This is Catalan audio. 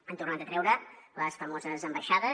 han tornat a treure les famoses ambaixades